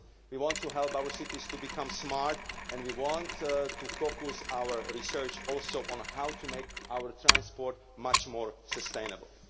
We want to help our cities to become smart, and we also want to focus our research on how to make our transport much more sustainable.